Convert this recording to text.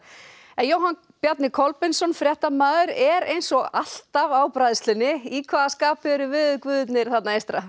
Jóhann Bjarni Kolbeinsson fréttamaður er eins og alltaf á bræðslunni í hvaða skapi eru veðurguðirnir þarna eystra